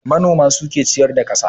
Manoma na da hanyoyi da dama na noma.